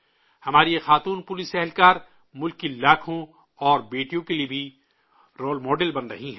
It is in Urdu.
ہماری یہ خواتین پولیس ملک کی لاکھوں اور بیٹیوں کے لیے بھی رول ماڈل بن رہی ہیں